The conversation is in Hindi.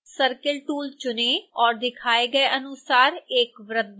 circle tool चुनें और दिखाए गए अनुसार एक वृत्त बनाएँ